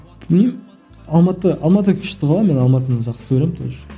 білмеймін алматы алматы күшті ғой мен алматыны жақсы көремін тоже